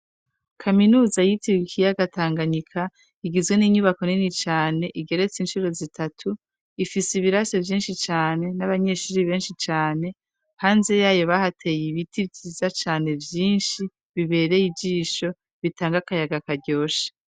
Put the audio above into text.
Kaminuza y'ikiyaga Tanganyika igizwe n'inyubako nini cane igeretse incuro zitatu ifise ibirasi vyinshi cane n'abanyeshure benshi cane hanze yayo bahateye ibiti vyiza cane vyinshi bitanga akayaga karyoshe.